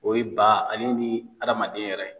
O ye ba ale ni hadamaden yɛrɛ.